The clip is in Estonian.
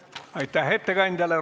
Aitäh ettekandjale!